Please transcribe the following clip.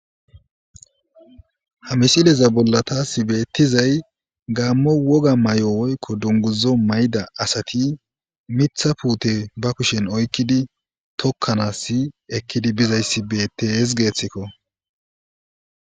hamisileza bollata si beettizay gaammo woga may7o woykko dunguzo mayda asati mitha puute ba kushen oykkidi tokkanass ekkidi bizayssi beettees geeththikko